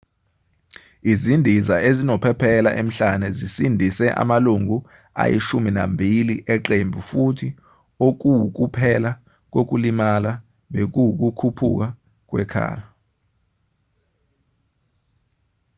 izindiza ezinophephela emhlane zisindise amalungu ayishumi nambili eqembu futhi okuwukuphela kokulimala bekuwukuphuka kwekhala